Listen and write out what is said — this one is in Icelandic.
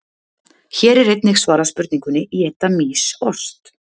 Hér er einnig svarað spurningunni: Éta mýs ost?